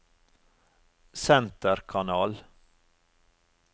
senterkanal